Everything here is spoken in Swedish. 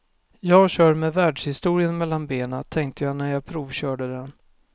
Jag kör med världshistorien mellan benen, tänkte jag när jag provkörde den.